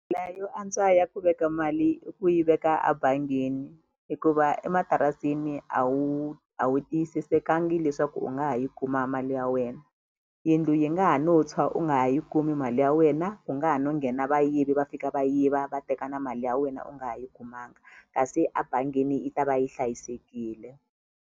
yo antswa ya ku veka mali i ku yi veka a bangini hikuva ematirasini a wu a wu tiyisisekangi leswaku u nga ha yi kuma mali ya wena yindlu yi nga ha no tshwa u nga ha yi kumi mali ya wena ku nga ha no nghena vayivi va fika va yiva va teka na mali ya wena u nga ha yi kumanga kasi a bangini yi ta va yi hlayisekile.